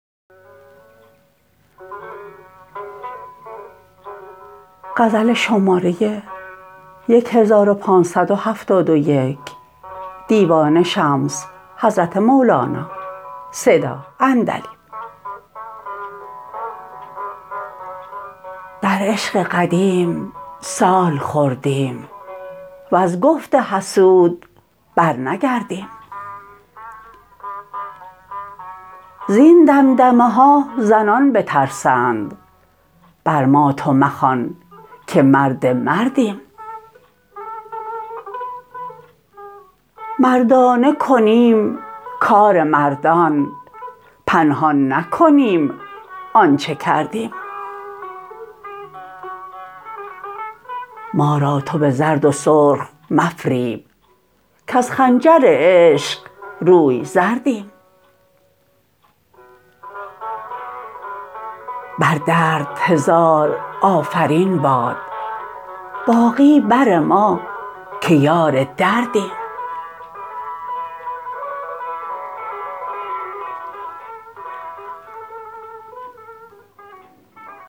در عشق قدیم سال خوردیم وز گفت حسود برنگردیم زین دمدمه ها زنان بترسند بر ما تو مخوان که مرد مردیم مردانه کنیم کار مردان پنهان نکنیم آنچ کردیم ما را تو به زرد و سرخ مفریب کز خنجر عشق روی زردیم بر درد هزار آفرین باد باقی بر ما که یار دردیم